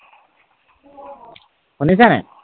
শুনিছে নাই?